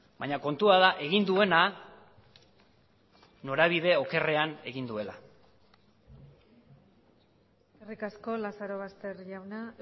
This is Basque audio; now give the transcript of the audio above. baina kontua da egin duena norabide okerrean egin duela eskerrik asko lazarobaster jauna